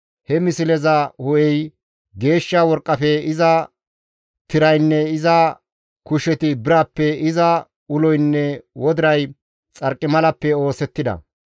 He misleza hu7ey geeshsha worqqafe, iza tiraynne iza kusheti birappe, iza uloynne wodiray xarqimalappe oosettida;